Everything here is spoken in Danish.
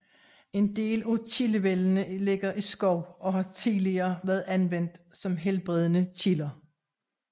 En del af kildevældene ligger i skov og har tidligere været anvendt som helbredende kilder